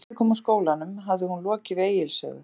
Þegar Gísli kom úr skólanum hafði hún lokið við Egils sögu.